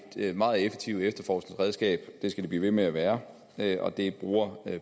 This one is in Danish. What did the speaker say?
et meget effektivt efterforskningsredskab og det skal det blive ved med at være og det bruger